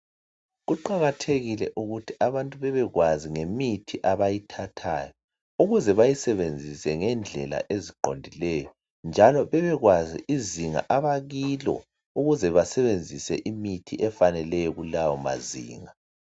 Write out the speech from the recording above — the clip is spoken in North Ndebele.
Kuqakathekile ukuthi abantu bebekwazi ngemithi abayithathayo ukuze bazisebenzise ngendlela eziqondileyo. Njalo bebekwazi izinga abakilo ukuze basebenzise imithi efaneleyo kulawo mazinga.